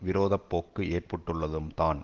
விரோத போக்கு ஏற்பட்டுள்ளதும் தான்